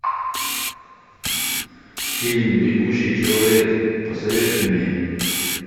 фильм бегущий человек посоветуй мне